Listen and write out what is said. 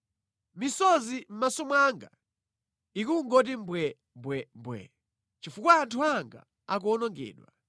Misozi mʼmaso mwanga ikungoti mbwembwembwe chifukwa anthu anga akuwonongedwa.